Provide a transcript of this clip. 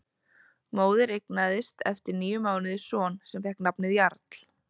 Móðir eignaðist eftir níu mánuði son sem fékk nafnið Jarl.